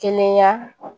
Kɛnɛya